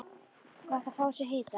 Gott að fá í sig hita.